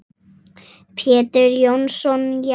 Pétur Jónsson Já.